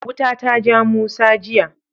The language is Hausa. Wuta ta ja Musa jiya.